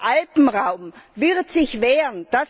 Der Alpenraum wird sich wehren.